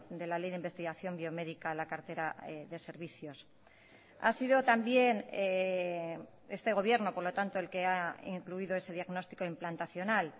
de la ley de investigación biomédica a la cartera de servicios ha sido también este gobierno por lo tanto el que ha incluido ese diagnóstico implantacional